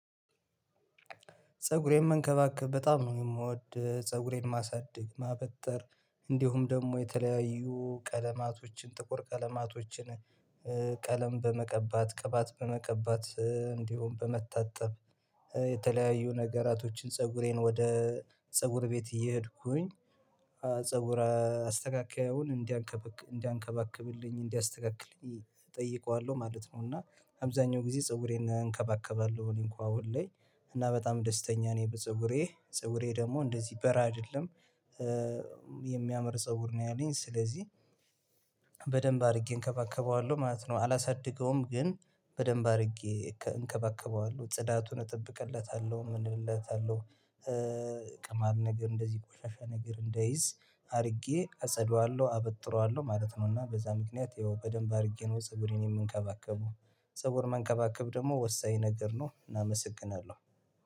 ፀጉሬን መንከባከብ በጣም ነው የምወድ ፀጉሬን ማሳደግ ማበጠር እንዲሁም ደግሞ የተለያዩ ቀለማቶችን ጥቁር ቀለማቶችን ቀለም በመቀባት ቅባት በመቀባት እንዲሁም በመታጠብ የተለያዩ ነገራቶችን ፀጉሬን ወደ ፀጉር ቤት እየሄድኩኝ ፀጉር አስተካካዩን እንዲያንከባክብልኝ እንዲያስተካክለኝ እጠይቀዋለሁ ማለት ነው። እና አብዛኛው ጊዜ ፀጉሬን እንከባከባለሁ እኔ እንኳን አሁን ላይ እና በጣም ደስተኛ ነኝ በፀጉሬ ፀጉሬ ደግሞ እንደዚህ በራ አይደለም የሚያምር ፀጉር ነው ያለኝ። ስለዚህ በደንብ አድርጌ እንከባከበዋለሁ ማለት ነው። አላሳድገውም ግን በደንብ አድርጌ እንከባከበዋለሁ ጽዳቱን እጠብቅለታለሁ ምንልለታለሁ ቅማል ነገር እንደዚህ ቆሻሻ ነገር እንደይዝ አድርጌ አጸደዋለሁ አበጥረዋለሁ ማለት ነው። እና በዛ ምክንያት ይኸው በደንብ አድርጌ ነው ፀብሬን የምንከባከበው። ፀብር መንከባከብ ደግሞ ወሳኝ ነገር ነው እናመሰግናለን።